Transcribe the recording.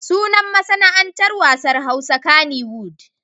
Sunan masana'antar wasan Hausa kaniwud.